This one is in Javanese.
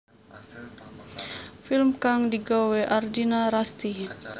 Film kang digawé Ardina Rasti